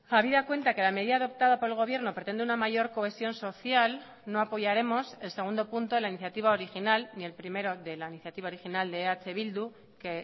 habida cuenta que la medida adoptada por el gobierno pretende una mayor cohesión social no apoyaremos el segundo punto de la iniciativa original ni el primero de la iniciativa original de eh bildu que